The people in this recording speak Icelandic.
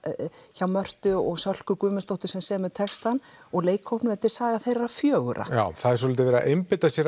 hjá Mörtu og Sölku Guðmundsdóttur sem semur textann og leikhópsins þetta er saga þeirra fjögurra já það er dálítið verið að einbeita sér